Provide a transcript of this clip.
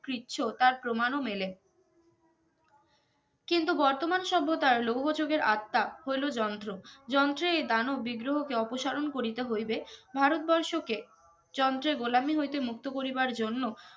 পির্ছো তার প্রমাণ ও মেলে কিন্তু বর্তমান সভ্যতার লৌহ যুগের আত্মা হইলো যন্ত্র যন্ত্রে এ দানব বিগ্রহ কে অপসারন করিতে হইবে ভারতবর্ষকে যন্তের গোলামি হইতে মুক্তো করিবার জন্য